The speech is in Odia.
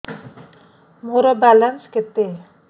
ମୋର ବାଲାନ୍ସ କେତେ